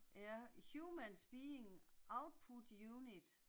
Ja, humans being, output unit